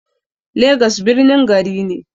Legas birnin gari ne.